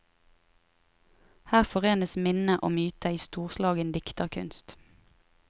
Her forenes minne og myte i storslagen dikterkunst.